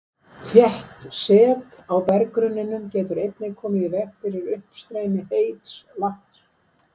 Þétt set á berggrunninum getur einnig komið í veg fyrir uppstreymi heits vatns.